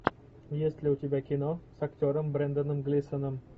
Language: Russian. есть ли у тебя кино с актером бренданом глисоном